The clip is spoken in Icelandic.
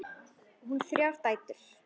Á hún þrjár dætur.